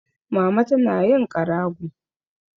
Mama tana yin ƙarago.